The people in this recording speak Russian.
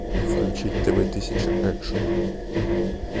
включить тв тысяча экшн